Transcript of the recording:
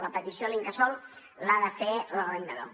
la petició a l’incasòl l’ha de fer l’arrendador